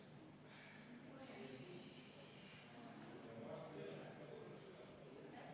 V a h e a e g